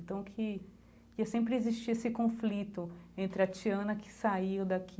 Então que... ia sempre existir esse conflito entre a Tiana que saiu daqui